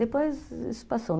Depois isso passou.